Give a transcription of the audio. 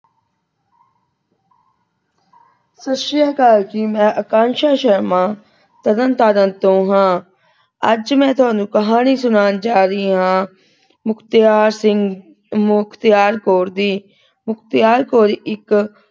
ਸਤਿ ਸ੍ਰੀ ਅਕਾਲ ਜੀ ਮੈਂ ਆਕਾਂਸ਼ਾ ਸ਼ਰਮਾ ਤਰਨਤਾਰਨ ਤੋਂ ਹਾਂ । ਅੱਜ ਮੈਂ ਤੁਹਾਨੂੰ ਕਹਾਣੀ ਸੁਣਾਉਣ ਜਾ ਰਹੀ ਹਾਂ ਮੁਖਤਿਆਰ ਸਿੰਘ ਮੁਖਤਿਆਰ ਕੌਰ ਦੀ। ਮੁਖਤਿਆਰ ਕੌਰ ਇਕ,